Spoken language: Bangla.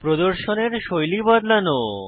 প্রদর্শনের শৈলী বদলানো